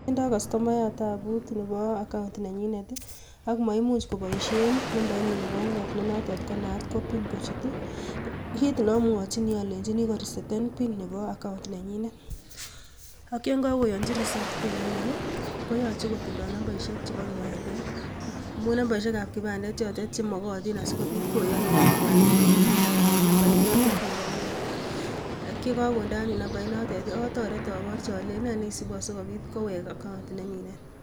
Tindo kastomayat tabut Nebo account nenyiinet, ak maimuch koiboishien nambainyiin Nebo ung'oot nenotok konast ko pin. Kit neomwochini olenyiini kowal pin nebo account nenyinet, ak yon kakoyonchii reset pin anyun, koyoche kotindoi nambaisiek chebo kipandet. Amun nambaisiek ab kipandet chotet chemookotin asikobiit koyonuun iwaal nambait notet neboo ung'oot. Ak yekokondee anyuun nambait notet otoret olenyiin nee neisibu asikobiit kowek account nenyiin.